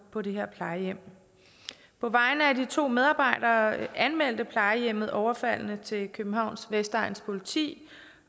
på det her plejehjem på vegne af de to medarbejdere anmeldte plejehjemmet overfaldet til københavns vestegns politi